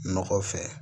Nɔgɔ fɛ